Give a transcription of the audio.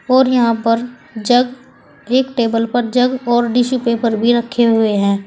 और यहां पर जग एक टेबल पर जग और डीशू पेपर भी रखे हुए हैं।